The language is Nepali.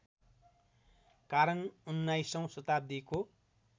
कारण उन्नाइसौँ शताब्दीको